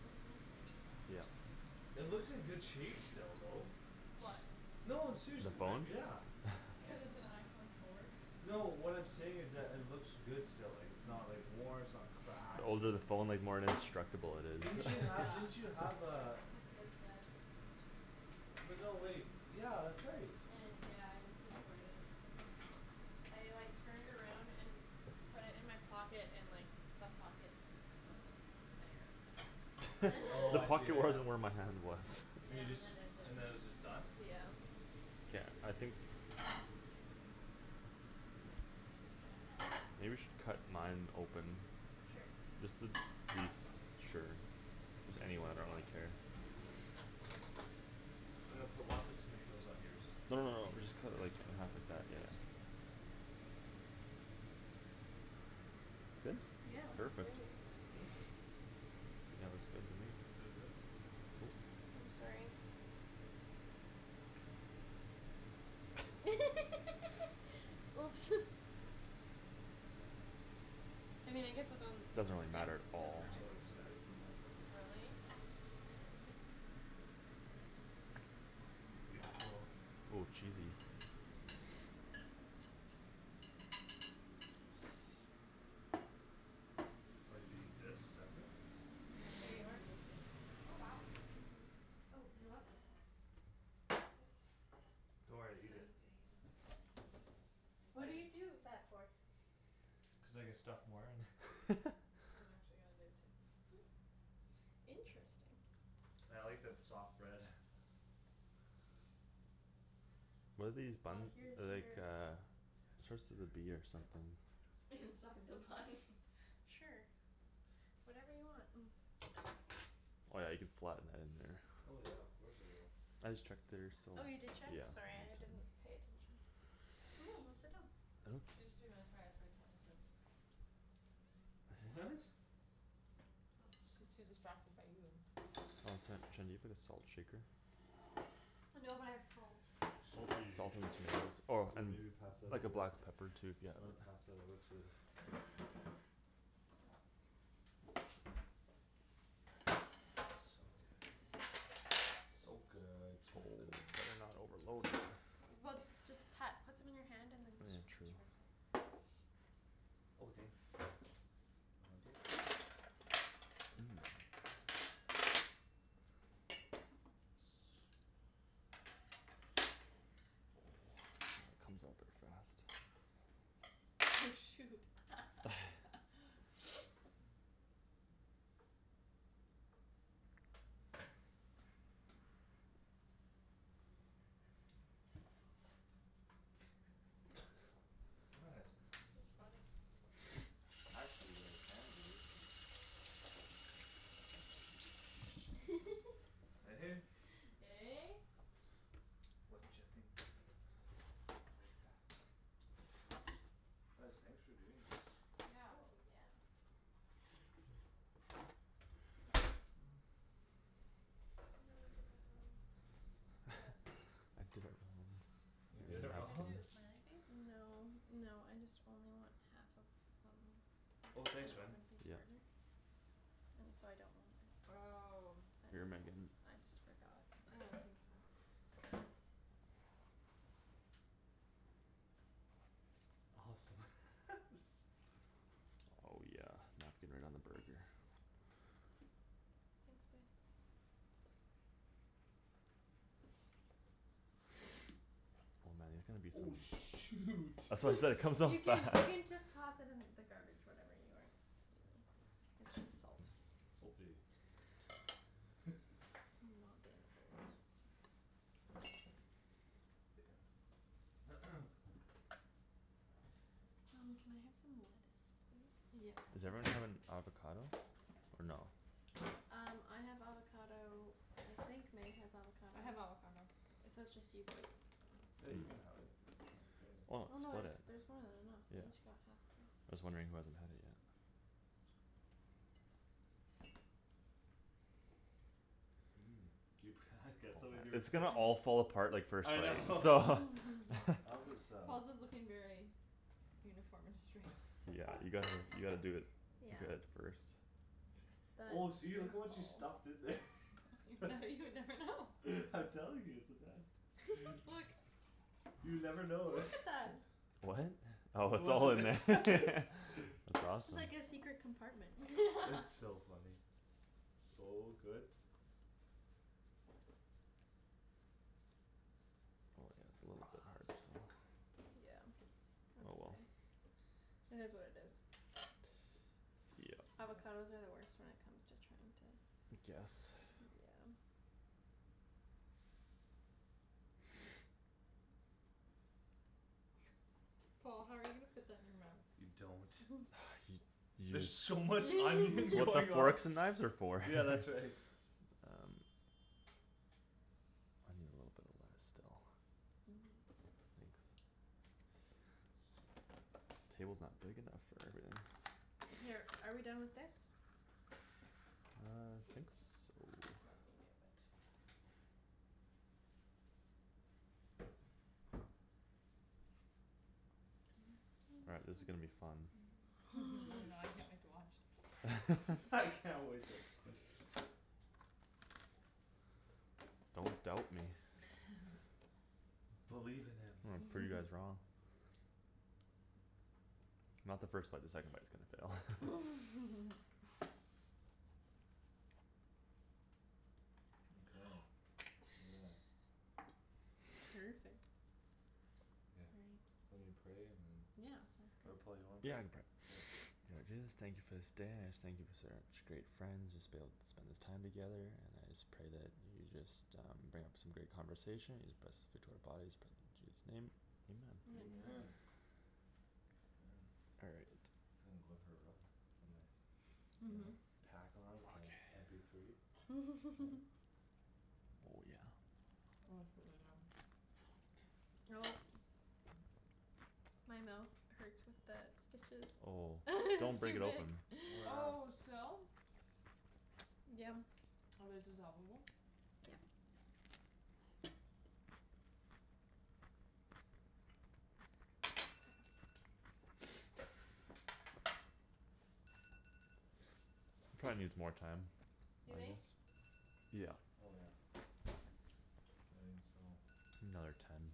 Just in case. Yeah. It looks in good shape still though. What? No, I'm seriously, The they're, phone? yeah. Cuz it's an iPhone four. No, what I'm saying is that it looks good still, like, it's not, like, worn, it's not cracked The older the phone, like, more indestructible it Didn't is. you have, Yeah. didn't Yeah. you have uh A Six S. But no, wait, yeah, that's right. Yeah, I destroyed it. I, like, turned around and put it in my pocket and, like, the pocket wasn't there. I, oh, The I see, yeah, pocket yeah. wasn't where my hand was. And you Yeah, and just, then it just, and then it was just done? yeah. Yeah, I think K. K. Maybe we should cut mine open. Sure. Just to be s- sure. You got Anywhere, your like, I bun? don't care. I'm gonna put lots of tomatoes on yours. No, no, no, we'll just Thanks. cut it, like, in half like I that, yeah. appreciate it. That feels Good? so good. Yeah, looks great. Perfect. Yeah, that looks good to me. That feel good? Yeah, it feels really I'm good. sorry. Oops. I mean I guess it's on, Doesn't really yeah. matter at Your all. hair's all like staticy now. Really? Great. Beautiful. Oh, cheesy. I like to eat this separate. And then Here I'm you gonna are. do the same. Oh wow, thank you. Oh, you're welcome Don't worry, He eat does it. it like What that. do you I Just ignore him. do that for? Cuz I can stuff more in. I'm actually gonna do it too. Interesting. I like the f- soft bread. What are these Well, buns? here's They're like your uh Starts with a B or something. Inside the bun. Sure, whatever you want. Oh, yeah, you could flatten that in there. Oh yeah, of course I will. I just checked theirs so, Oh, you did check? yeah. Sorry, I didn't pay attention. Go sit down. She's too mesmerized by Thomas's. What? She's too distracted by you. Oh, snap, Shan, do you have a salt shaker? No, but I have salt. Salty. Salt containers or I Ooh, mean, maybe pass that like, a over. black pepper tube, You yeah. wanna pass that over to So good, so Oh, good. better not overload it. Well, just pat, put some in your hand and then True. sprinkle it. Oh, thanks. Put it on there. Here comes all the frost. Oh, shoot. What? It's just funny. Actually, what I can do Eh? Eh? Watcha think about that? Guys, thanks for doing this. Yeah. Oh, yeah. Go in. Oh no, I did that wrong. What? I did it You What were you did it wrong. trying wrong? to do, a smiley face? No, no, I just only want half of some. Oh An thanks, man. open face Yeah. burger? And so I don't want this. Oh And Here, then just, Megan. I just forgot. Oh, thanks, Paul. I hope Awesome. so. Oh, yeah, melt it right on the burger. Thanks, babe. Oh, man, there's gonna be Oh, some shoot. That's what I'm saying, comes off You fast. can, you can just toss it in the garbage whatever you aren't using. It's just salt. Salty. Not the end of the world. Um, can I have some lettuce, please? Yes. Is everyone having avocado? Or no? No? Um, I have avocado. I think Meg has avocado. I have avocado. It's, so it's just you boys. Yeah, you can have it. I don't Why care. Oh not no, split there's, it? there's more than enough Yeah. we each got half though. Just wondering who hasn't had it yet. You It's gonna all fall apart, like, first I bite, so. know. I'll just um Paul's is looking very uniform and straight. Yeah, you gotta, you gotta do it Yeah. good at first. Oh, That see, look at is what you Paul. stuffed in there. Now you would never know. I'm telling you, it's the best. You never know. Look at that. What? Look Oh it's at all in there. what ju- That's awesome. It's like a secret compartment. It's so funny. So good. Oh, yeah, it's a little bit hard still. Yeah, that's Oh, well. okay. It is what it is. Yeah. Avocados are the worst when it comes to trying to I guess. Yeah. Paul, how are you gonna fit that in your mouth? You You don't. don't. Y- You There's so much It's onion what the going on. forks and knives are for. Yeah, that's right. Um I need a little bit of that still. Thanks. This table's not big enough for everything. Here, are we done with this? I think so. Let me move it. All right, this is gonna be fun. Oh god, I can't wait to watch. I can't wait to Don't doubt me. Believe in him. I'm gonna prove you guys wrong. Not the first bite. The second bite's gonna Yeah. fail. Okay, yeah. Perfect. Perfect. Yeah, Right. are we praying and Yeah, Yeah, sounds Or great. sounds good. Paul, you wanna Yeah, pray? I can pray. K. Lord Jesus, thank you for this day, I just thank you for such great friends just Being able to spend this time together and I just pray that You just um bring up some great conversation just best fit to our bodies. Pray in Jesus' name, amen. Amen. Amen. Amen. All right. Feel like going for a run With my, you know? Pack on with my M Okay. P three. Oh, yeah. Oh, it's really good. Oh. My mouth hurts with the stitches. Oh, don't It's break too it big. open. Oh Oh, yeah. still? Yum. Are they dissolve-able? Yeah. Probably needs more time, You I think? guess. Yeah. Oh, yeah. I didn't steal one. Another ten.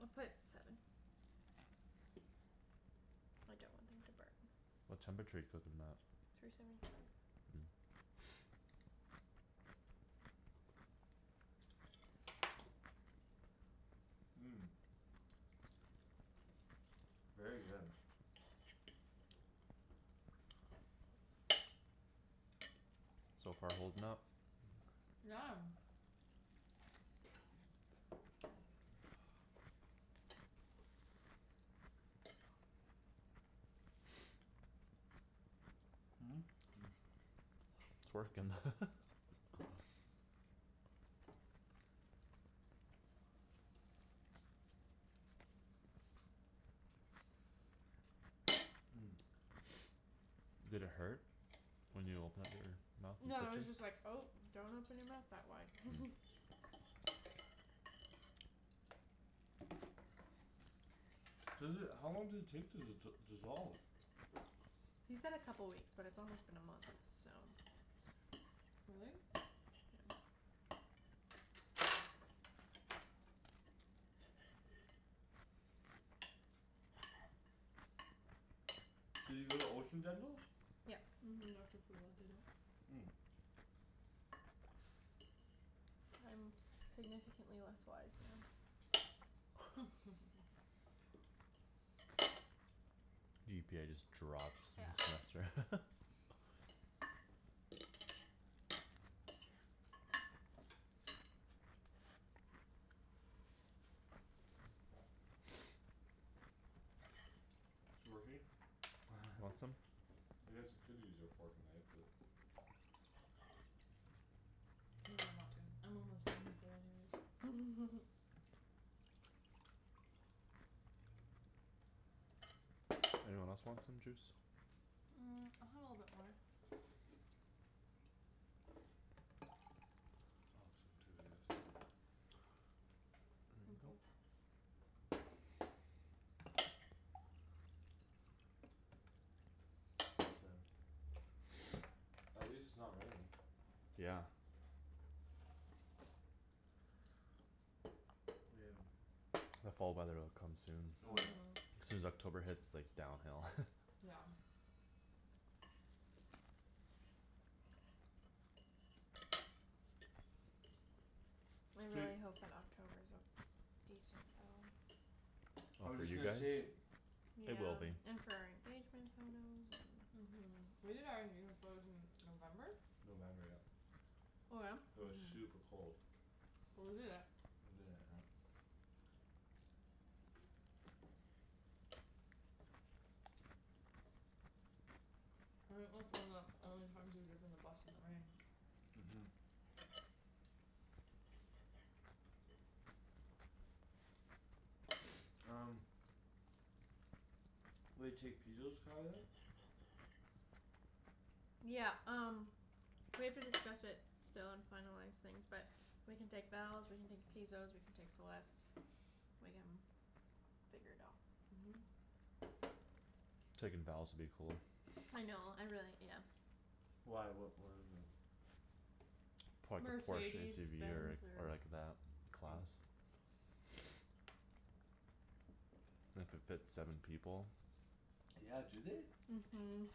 I'll put seven. I don't want them to burn. What temperature you cook 'em at? Three seventy five. Very good. So far holding up. Yeah. It's working. Did it hurt when you opened up your mouth? No, it The was stitches? just like, "Oh, don't open your mouth that wide." Seriously, how long does it take to d- dissolve? He said a couple weeks but it's almost been a month, so Really? Did you go to Ocean Dental? Yep. Mhm, Doctor Poola did it. I'm significantly less wise now. GPA just drops next Yeah. semester. It working? Want some? I guess you could use your fork and knife but I don't really want to. I'm almost done with that anyways. Anyone else want some juice? Mm, I'll have a little bit more. I'll have some too if you have some left. Thank you. Mhm. Thanks, man. At least it's not raining. Yeah. The fall weather'll come soon. Oh, yeah. Mhm. Soon as October hits, like, downhill. Yeah. I So you really hope that October's a decent though. I Oh, was for just you gonna guys? say It will Yeah. be. And for our engagement photos and Mhm. We did our engagement photos in November? November, yep. Oh yeah? It was Mhm. super cold. Well, we did it. We did it, yep. I think that's one of the only times we've driven the bus in the rain. Mhm. Um Will you take Pizo's car then? Yeah, um we have to discuss it still and finalize things but We can take Val's, we can take Pizo's, we can take Celeste's. We can figure it out. Mhm. Taking Val's would be cool. I know, I really, yes. Why, what, what is it? Probably could Porsche Mercedes SUV Benz or, or or like that class. It could fit seven people. Yeah, do they? Mhm.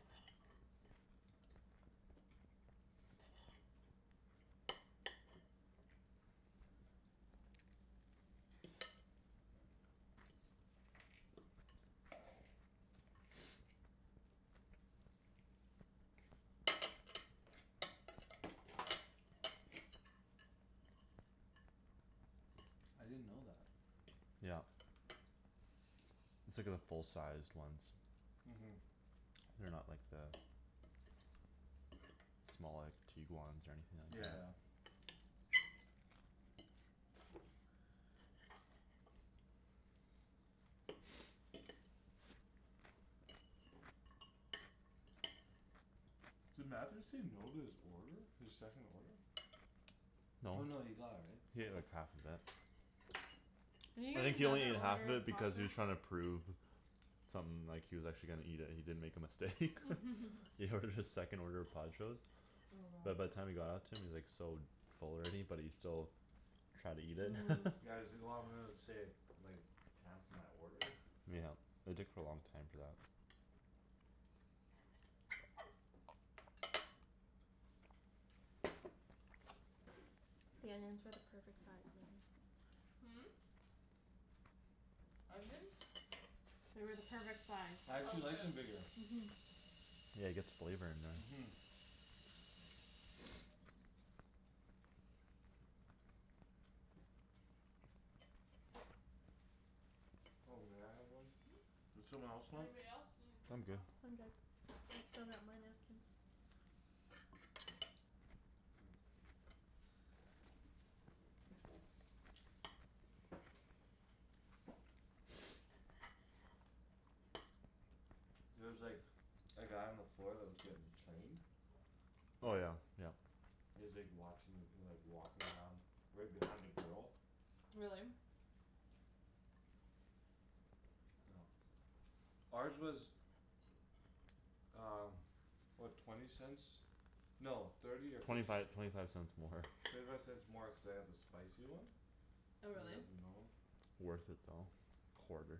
I didn't know that. Yep. It's like the full-sized ones. Mhm. They're not like the Small, like Tiguans or anything like Yeah, yeah. that. Did Matthew say no to his order? His second order? Oh, No. no, he got it, right? He had like half of it. Did he I eat think he only another needed half order of of it because he was Pajo's? trying to prove Something, like, he was actually gonna eat it and he didn't make a mistake. He ordered his second order of Pajo's. Oh But by god. the time it got out to him he was, like, so Full already but he still Tried to eat it. Yeah, he's like, "Oh, I'm gonna save, like, time for my order?" Yeah, it took a long time for that. The onions were the perfect size, Megan. Hmm? Onions? They were the perfect size. I Oh, actually like good. them bigger. Mhm. Yeah, it gets flavor in there. Mhm. Oh, may I have one? Hmm? Does someone else want? Anybody else need a I'm paper good. towel? I'm good. I still got my napkin. K. There was, like A guy on the floor that was getting Trained? Oh, Paul? yeah, yeah. He was, like, watching, like, he was, like, walking around Right behind a girl. Really? Yeah. Ours was Um, what? Twenty cents? No, thirty or Twenty fifty five, c- twenty five cents more. Thirty five cents more cuz I got the spicy one. They Oh, really? had the normal. Worth it though, quarter.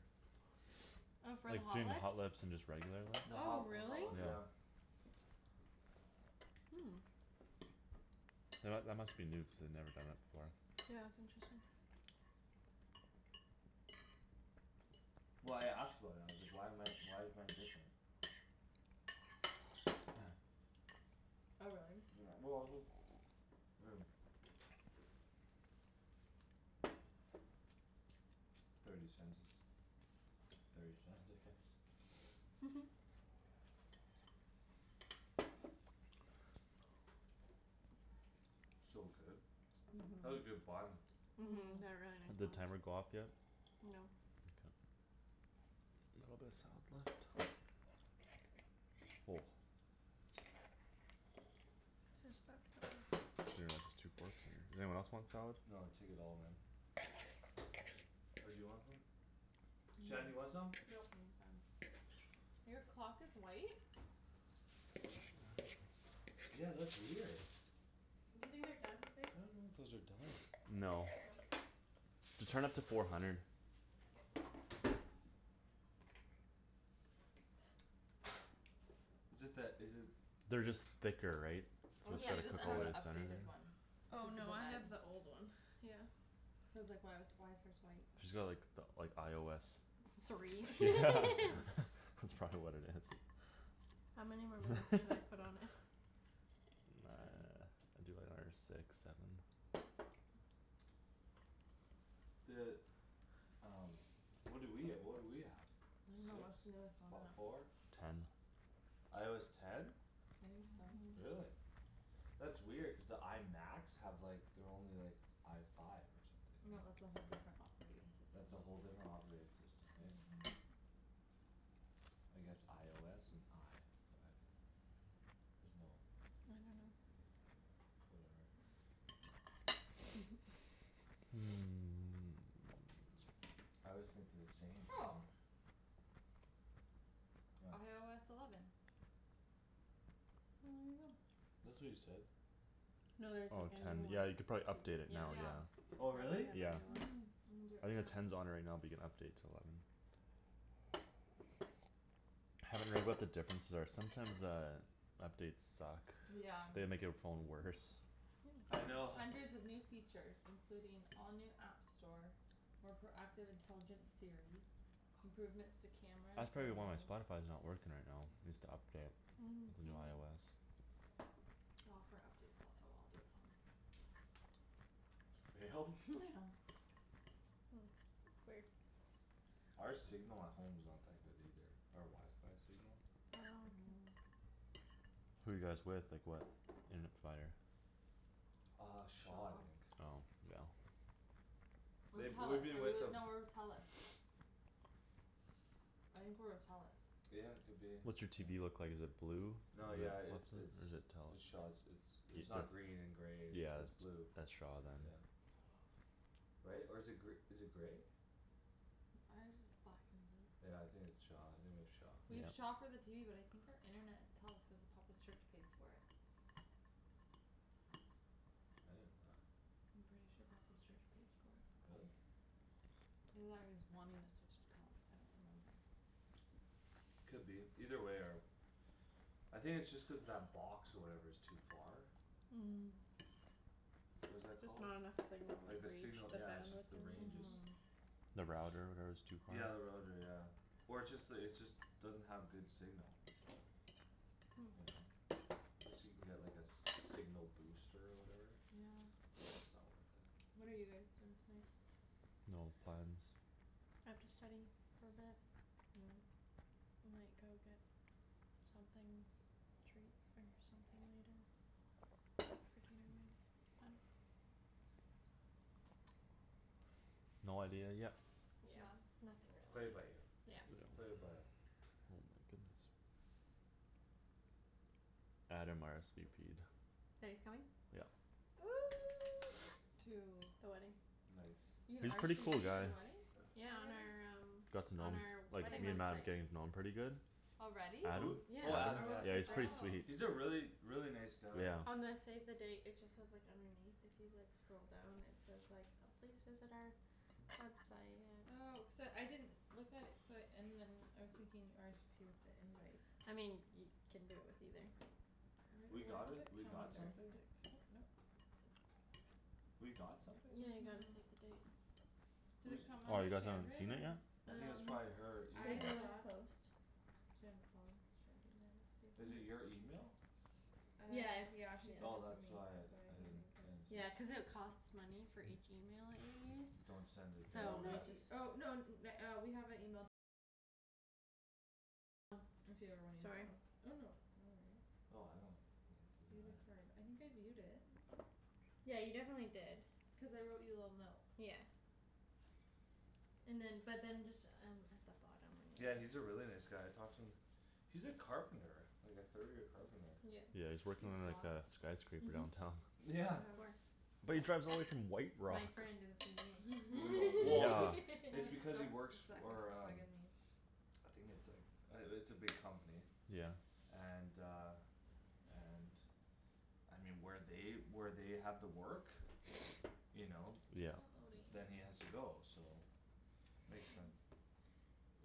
Oh, for the Like Hot Jin Lips? Hot Lips and just regular lips. The Oh Oh, Hot, the really? Hot really? Lips, yeah. Yeah. Hmm. You know what? That must be new cuz they'd never done that before. Yeah, it's interesting. Well, I asked about it. I was like, "Why am I, why is mine different?" Oh, really? Yeah, well, just I mean Thirty cents is thirty cents, I guess. So good. That's a Mhm. good bun. Mhm, Mhm. they're really nice Did plums. timer go off yet? No. Okay. A little bit of salad left. Just spot kill 'em. Pretty much just two forks in here. Does anyone else want salad? No, take it all man. Or do you want some? Shan, do you No. want some? Nope. I'm fine. Your clock is white? Yeah, that's weird. Do you think they're done, babe? I don't know if those are done. No. No? Just turn up to four hundred. K. Is it that, is it They're just thicker, right? So Oh, just Yeah. try she to doesn't cook all the have way the the Yeah. center updated there. one. Oh Cuz of no, the I bag. have the old one, yeah. Cuz I was, like, "Why was, why is hers white?" She's got like the, like, IOS. Three. Yeah, Cool. that's probably what it is. How many more minutes do I put on it? Ten. Do, like, another six, seven. The um What do we, uh what do we have? I dunno, Six? what's the newest on Fo- that? four? Ten. IOS ten? I think so. Mhm. Really? That's weird cuz the I Macs have, like, they're only, like, I five No, or that's something, right? a whole different operating system. That's a whole different operating system, hey? I guess IOS and I five. There's no I dunno. Whatever. Sure. I always think they're the same. What? IOS eleven. Well, Well, there there you you go. go. That's what you said. No, No, there's, there's, Oh, like, like, a a new ten. one new Yeah, you one. could probably too, update it yeah. now, Yeah. yeah. Oh Already really? have a Yeah. new one. Mhm. I'm gonna do it I think right the now. ten's on it right now but you can update to eleven. Haven't read what the differences are. Sometimes the Updates suck. Yeah. They make your phone worse. Yum I know. Hundreds of new features, including all new app store More proactive intelligent Siri Improvements to camera and That's probably photo why my Spotify's not working right now. Needs to update. New Maybe IOS. Software update failed. Oh, well, I'll do it at home. For real? Yeah. Hmm, weird. Our signal at home's not that good either. Our wifi signal. Oh, okay. No. Who you guys with? Like what internet provider? Uh Shaw, I Shaw. think. Oh, yeah. Or They, we've Telus. Are been we with with, them no, we're with Telus. I think we're with Telus. Yeah, could be, What's your TV yeah. look like, is it blue? Or No, yeah, it's, what's it? Or is it's, it it's Shaw. it's, it's Telus? It's It's the not green and grey; it's, Yeah, it's that's, blue. that's Shaw then. Yeah. Right? Or is it gr- is it grey? Ours is black and blue. Yeah, I think it's Shaw, I think we have Shaw. We have Yeah. Shaw for the TV but I think our internet is Telus cuz Papa's church pays for it. I didn't know that. I'm pretty sure Papa's church pays for it. Really? Either that or he's wanting to switch to Telus. I don't remember. Could be. Either way our I think it's just cuz that box or whatever is too far? What is that Just called? not enough signal Like like the reach signal, the yeah, it's just bandwidth the or range is whatever. Mhm. The router, whatever, is too far? Yeah, the router, yeah. Or it's just the, it's just Doesn't have good signal. You know? Guess you can get like a s- signal booster or whatever? Yeah. But it's not worth it. What are you guys doing tonight? No plans. I have to study for a bit. Oh. We might go get something, treat or something later after dinner maybe, I dunno. No idea yet. Yeah, nothing Play it by really. ear. Yeah. Play it by Oh my goodness. Adam RSVP'd. That he's coming? Yep. To The wedding. Nice. You can He's pretty RSVP cool to guy. the wedding? Yeah, on our Already? um Got to know on him. our Like wedding me and Matt are website. getting to know him pretty good. Already? Who? Adam. Yeah, Oh Adam? Adam, our yeah. Yeah, website's he's ready. pretty Oh. sweet. He's a really, really, nice guy. Yeah. On the save the date it just says, like, underneath if you, like, scroll down it says like, uh "Please visit our website at" Oh, cuz uh I didn't Look at it cuz I, and then I was thinking RSVP with the invite. I mean, you can do it with either. We Where, got what a, does it we come got under? something? Did it come out, nope. We got something? Yeah, you got a Mhm. save the date. Did it Whose come Oh, under you guys haven't Shandryn seen it yet? or I think it's Um, probably her email. I Paperless thought Post. Shan and Paul and Shandryn, there it is, save Is the it date. your email? Uh Yeah, it's, yeah. yeah, she sent it Oh to me; that's why that's I, why I you didn't, didn't get I it. didn't Yeah, see. cuz it costs money for each email that you use Don't send it Oh, So to no, we anyone. just y- oh, no n- na- uh we have a email If you ever wanna use that one. Oh, no, no worries. Oh I don't you know, View it the doesn't matter. card. I think I viewed it. Yeah, you definitely did. Cuz I wrote you a little note. Yeah. And then, but then just um at the bottom when Yeah, you he's a really nice guy. I talked to him. He's a carpenter. Like a third year carpenter. Yep. Yeah, he's Do working you He on like floss? a skyscraper downtown. Mhm, Yeah. of course. But he drives all the way from White Rock. My friend did the Brutal, well, cuz CVing. It's Except she because he works suck and for it's um bugging me. I think it's, like, uh it's a big company. Yeah. And uh and I mean, where they, where they have the work You know Yeah. It's not loading. Then he has to go, so Makes sense.